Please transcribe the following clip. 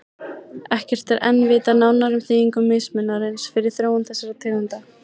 Ekkert er enn vitað nánar um þýðingu mismunarins fyrir þróun þessara tegunda.